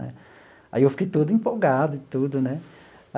Aí eu fiquei todo empolgado e tudo, né?